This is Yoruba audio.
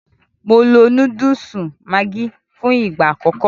Mo lo Núdùùsù Maggi fún ìgbà àkọ́kọ́